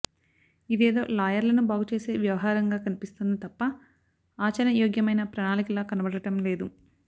ఇదేదో లాయర్లను బాగుచేసే వ్యవహారంగా కనిపిస్తోంది తప్ప ఆచరణయోగ్యమైన ప్రణాళికలా కనబడటం లేదు